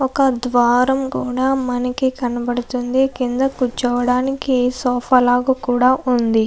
ఒక ద్వారం కూడా కనబడుతూ ఉంది కింద కూర్చోడానికి ఒక సోఫా లాగా ఉంది.